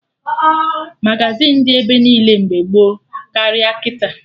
Magazịn dị ebe niile mgbe gboo karịa kịta